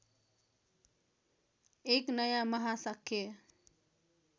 एक नयाँ महाशाक्य